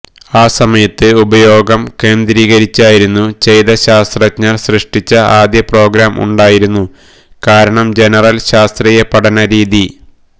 ആ സമയത്ത് ഉപയോഗം കേന്ദ്രീകരിച്ചായിരുന്നു ചെയ്ത ശാസ്ത്രജ്ഞർ സൃഷ്ടിച്ച ആദ്യ പ്രോഗ്രാം ഉണ്ടായിരുന്നു കാരണം ജനറൽ ശാസ്ത്രീയ പഠനം രീതി